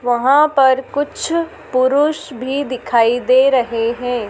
वहां पर कुछ पुरुष भी दिखाई दे रहे हैं।